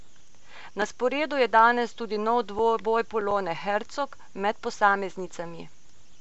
Na sporedu je danes tudi nov dvoboj Polone Hercog med posameznicami.